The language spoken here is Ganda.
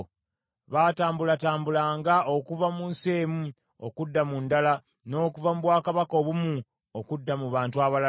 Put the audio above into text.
baatambulatambulanga okuva mu nsi emu okudda mu ndala, n’okuva mu bwakabaka obumu okudda mu bantu abalala.